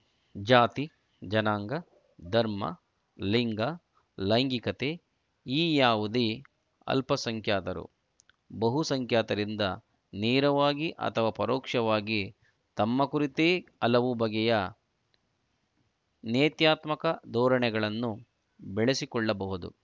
ಜಾತಿ ಜನಾಂಗ ಧರ್ಮ ಲಿಂಗ ಲೈಂಗಿಕತೆ ಈ ಯಾವುದೇ ಅಲ್ಪಸಂಖ್ಯಾತರು ಬಹುಸಂಖ್ಯಾತರಿಂದ ನೇರವಾಗಿ ಅಥವಾ ಪರೋಕ್ಷವಾಗಿ ತಮ್ಮ ಕುರಿತೇ ಹಲವು ಬಗೆಯ ನೇತ್ಯಾತ್ಮಕ ಧೋರಣೆಗಳನ್ನು ಬೆಳೆಸಿಕೊಳ್ಳಬಹುದು